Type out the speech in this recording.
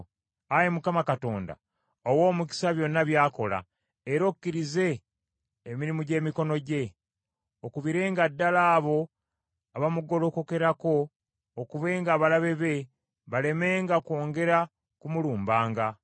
Ayi Mukama Katonda owe omukisa byonna by’akola, era okkirize emirimu gy’emikono gye. Okubirenga ddala abo abamugolokokerako okubenga abalabe be balemenga kwongera kumulumbanga.”